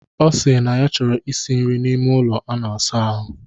Ọ sịrị na ya chọrọ ishi nri n'ime ụlọ a na-asa ahụ.